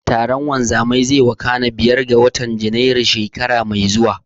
Taron wanzamai zai wakana biyar ga watan Janairu, shekara mai zuwa.